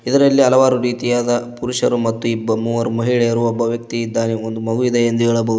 ಇದರಲ್ಲಿ ಹಲವಾರು ರೀತಿಯಾದ ಪುರುಷರು ಮತ್ತು ಇಬ್ಬ ಮೂವರು ಮಹಿಳೆಯರು ಮತ್ತು ಒಬ್ಬ ವ್ಯಕ್ತಿ ಇದ್ದಾನೆ ಒಂದು ಮಗುವಿದೆ ಎಂದು ಹೇಳಬಹುದು.